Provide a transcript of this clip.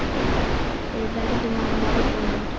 Við verðum að ná honum.